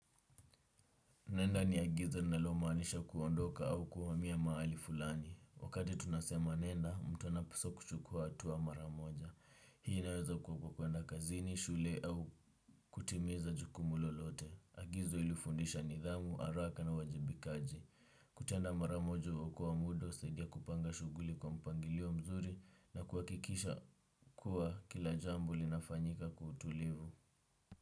Nenda ni agizo nalo manisha kuondoka au kuhamia maali fulani. Wakati tunasema nenda, mtu anapuswa kuchukua atuwa maramoja. Hii naweza kukua kukwenda kazini, shule au kutimiza jukumu lolote. Agizo ilifundisha nidhamu, araka na uwajibikaji. Kutenda maramoja uokowa muda, usaidia kupanga shuguli kwa mpangilio mzuri na kuakikisha kuwa kila jambo linafanyika kwa utulivu.